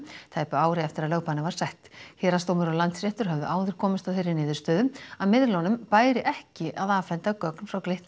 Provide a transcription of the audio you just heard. tæpu ári eftir að lögbannið var sett héraðsdómur og Landsréttur höfðu áður komist að þeirri niðurstöðu að miðlunum bæri ekki að afhenda gögn frá Glitni